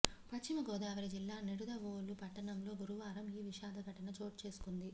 పశ్చిమ గోదావరి జిల్లా నిడదవోలు పట్టణంలో గురువారం ఈ విషాద ఘటన చోటుచేసుకుంది